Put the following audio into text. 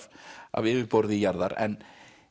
af yfirborði jarðar en